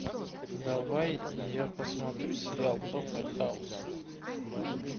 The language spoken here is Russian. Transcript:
давай я посмотрю сериал доктор хаус